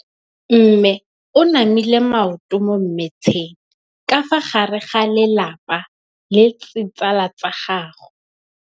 Mme o namile maoto mo mmetseng ka fa gare ga lelapa le ditsala tsa gagwe.